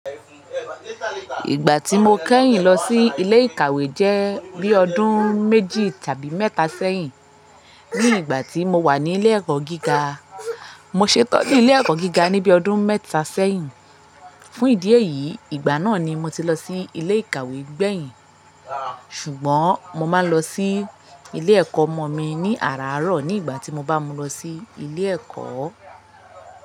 Ìgbà tí mo kẹ́yìn lọ sí ilé ìkàwé jẹ́ bí ọdún méjì tàbí mẹ́ta sẹ́yìn ní ìgbà tí mo wà ní ilé ẹ̀kọ́ gíga. Mo ṣetán ní ilé ẹ̀kọ́ gíga níbí ọdún mẹ́ta sẹ́yìn. Fún ìdí èyí, ìgbà náà ni mo ti lọ sí ilé ìkàwé gbẹ̀yìn. Ṣùgbọ́n mo máa lọ sí ilé ẹ̀kọ́ ọmọ mi ní àràárọ̀ ní ìgbà tí mo bá mu lọ sí ilé ẹ̀kọ́